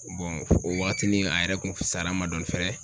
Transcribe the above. o waatinin a yɛrɛ kun fusara n ma dɔɔnin fɛnɛ